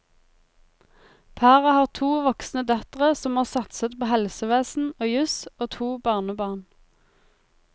Paret har to voksne døtre som har satset på helsevesen og jus, og to barnebarn.